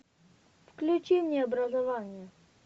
включи мне образование